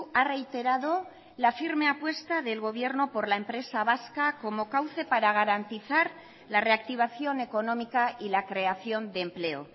ha reiterado la firme apuesta del gobierno por la empresa vasca como cauce para garantizar la reactivación económica y la creación de empleo